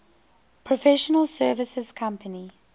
professional services company